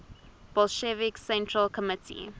bolshevik central committee